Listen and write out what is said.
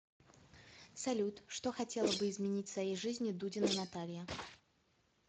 салют что хотела бы изменить в своей жизни дудина наталья